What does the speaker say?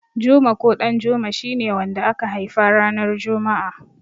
Juma ko Ɗanjuma shi ne wanda aka haifa ranar juma'a.